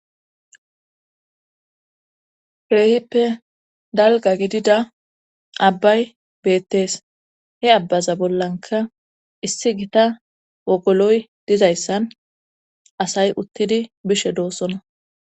reehippe dalga gidida abbay beettees he abbaza bollanka issi gita wogoloy dizayssan asay uttidi bishe doossona